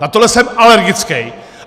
Na tohle jsem alergickej!